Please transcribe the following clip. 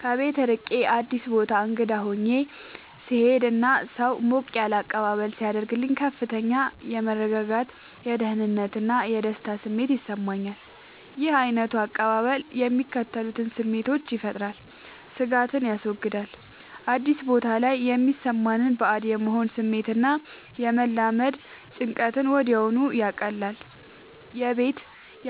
ከቤት ርቄ አዲስ ቦታ እንግዳ ሆኜ ስሄድ እና ሰው ሞቅ ያለ አቀባበል ሲያደርግልኝ ከፍተኛ የመረጋጋት፣ የደህንነት እና የደስታ ስሜት ይሰማኛል። ይህ ዓይነቱ አቀባበል የሚከተሉትን ስሜቶች ይፈጥራል፦ ስጋትን ያስወግዳል፦ አዲስ ቦታ ላይ የሚሰማንን ባዕድ የመሆን ስሜት እና የመላመድ ጭንቀትን ወዲያውኑ ያቀልላል። የቤት